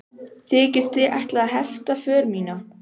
Þykist þið ætla að hefta för mína?